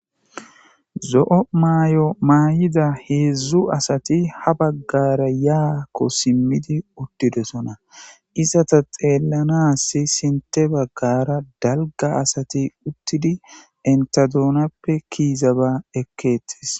zo7o may7o maay7ida heedzdzu asati ha baggara yaakko simmidi uttidesona izata xeellanassi sinte baggara dalga asati uttidi enta duunappe kiiza ba ekkeettis